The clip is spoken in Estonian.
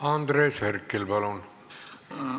Andres Herkel, palun!